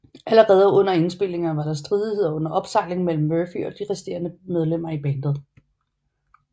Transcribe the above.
Allerede under indspilningerne var der stridigheder under opsejling mellem Murphy og de resterende medlemmer i bandet